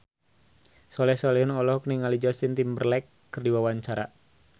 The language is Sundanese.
Soleh Solihun olohok ningali Justin Timberlake keur diwawancara